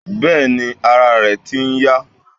Bẹ́ẹ̀ni, ara ẹ̀ ti ń yá.